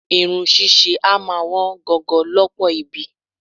Irun ṣíṣe a máa wọn gogo lọ́pọ̀ ibi.